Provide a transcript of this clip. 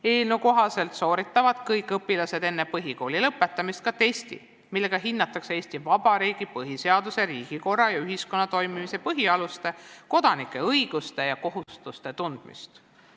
Eelnõu kohaselt sooritavad kõik õpilased enne põhikooli lõpetamist ka testi, millega hinnatakse Eesti Vabariigi põhiseaduse, riigikorra ja ühiskonna toimimise põhialuste ning kodanike õiguste ja kohustuste tundmist.